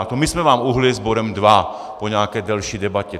A to my jsme vám uhnuli s bodem 2 po nějaké delší debatě.